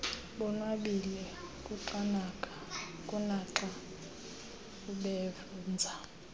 bonwabile kunaxa ubenza